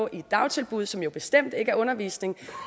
i dagtilbud som jo bestemt ikke er undervisning